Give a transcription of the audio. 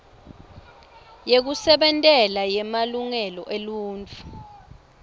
yekusebentela yemalungelo eluntfu